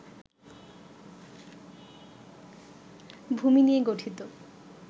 ভূমি নিয়ে গঠিত